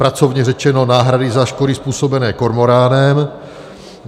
Pracovně řečeno náhrady za škody způsobené kormoránem.